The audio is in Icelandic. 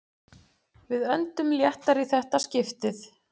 Við öndum léttar í þetta skiptið